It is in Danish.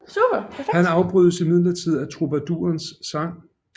Han afbrydes imidlertid af trubadurens sang